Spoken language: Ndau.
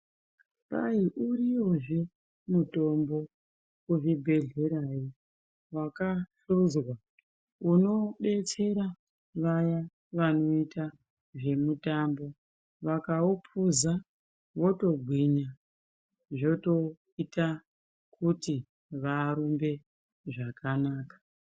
Kwai uriyozve mutombo kuzvibhedhlera yo wakahluzwa unodetsera vaya vanoita zvemitambo vakaupuza votogwinya zvotoita kuti varumbe zvakanaka.